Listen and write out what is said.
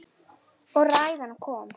Og ræðan kom.